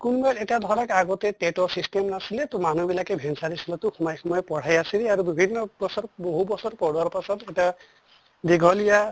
কোনবা এটা ধৰক আগতে TET ৰ system নাছিলে তʼ মানুহ বিলাকে venture school তো সোমাই সোমাই পঢ়াই আছিলে আৰু বিভিন্নবছৰ বহু বছৰ পঢ়োৱাৰ পাছত এটা দীঘলিয়া